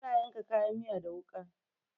Ana yanka kayan miya da wuƙa.